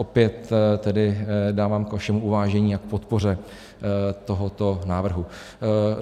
Opět tedy dávám k vašemu uvážení a k podpoře tohoto návrhu.